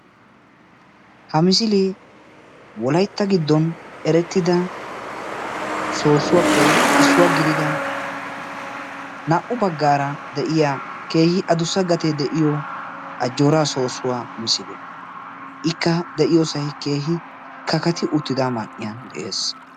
Ha misile Wolaytta giddon eretidda soossuwappe issuwa gidida na"u baggara de'iyaa keehi addussa gate de'iyo Ajjoora soossuwa misile; ikka de'iyosay keehi kakati uttida man"iyaan de'ees